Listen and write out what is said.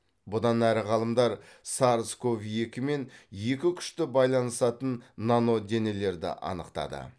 бұдан әрі ғалымдар сарс ков екімен екі күшті байланысатын наноденелерді анықтады